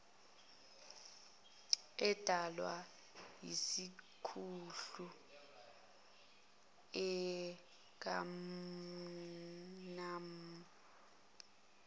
edalwa isihluku sikammmmmama